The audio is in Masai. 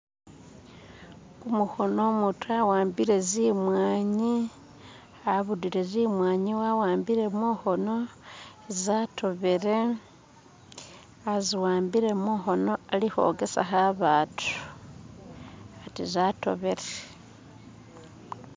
Kumukhono umutu awambile zi'mwanyi, abudire zi'mwanyi awambile mukhono za'tobere aziwambile mukhono arikhwogesa kho abatu ati zatobere.